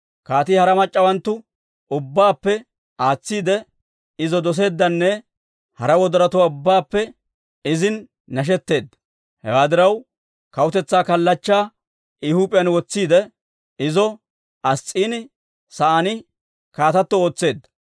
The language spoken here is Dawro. Kaatii hara mac'c'awanttu ubbaappe aatsiide, izo doseeddanne hara wodorotuwaa ubbaappe izin nashetteedda. Hewaa diraw, kawutetsaa kallachchaa I huup'iyaan wotsiidde, izo Ass's'iini sa'aan kaatato ootseedda.